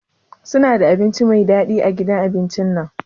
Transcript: Suna da abinci Mai dadi a gidan abincin nan?